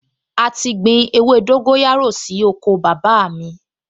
A ti gbin ewé dóńgóyárò sí oko bàbá mi